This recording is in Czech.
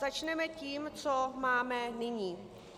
Začneme tím, co máme nyní.